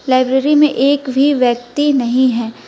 Library में एक भी व्यक्ति नहीं है।